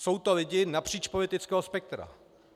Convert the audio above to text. Jsou to lidi napříč politického spektra.